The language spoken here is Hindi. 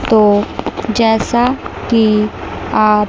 तो जैसा की आप--